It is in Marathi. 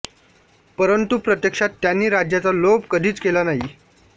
परंतु प्रत्यक्षात त्यांनी राज्याचा लोभ कधीच केला नाही